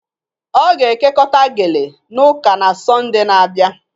Ọ ga-ekekọta gele na ụka na Sọnde na-abịa